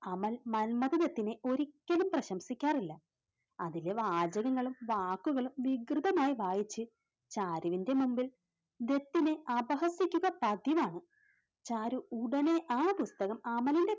അമൽ മന്മഥദത്തിനെ ഒരിക്കലും പ്രശംസിക്കാറില്ല. അതിലെ വാചകങ്ങളും വാക്കുകളും വികൃതമായി വായിച്ച് ചാരുവിന്റെ മുമ്പിൽ ദത്തിനെ അപഹസിക്കുക പതിവാണ്, ചാരു ഉടനെ ആ പുസ്തകം അമലിന്റെ